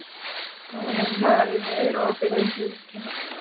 Dara, hvað er opið lengi í IKEA?